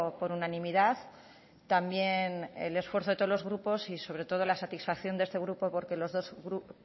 por unanimidad también el esfuerzo de todos los grupos y sobre todo la satisfacción de este grupo porque los dos